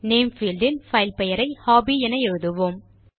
name field இல் file பெயரை hobby என எழுதுவோம்